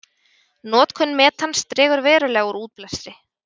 Notkun metans dregur verulega úr útblæstri.